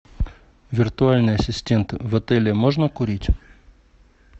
виртуальный ассистент в отеле можно курить